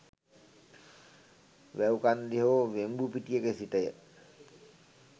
වැව් කන්දේ හෝ වෙම්බුපිටියක සිටය.